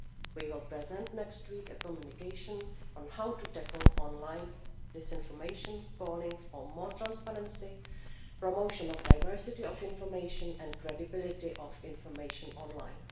We will present next week a communication on how to tackle online disinformation, calling for more transparency, the promotion of diversity of information and credibility of information online.